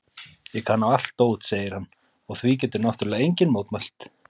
Ég kann á allt dót, segir hann og því getur náttúrlega enginn mótmælt.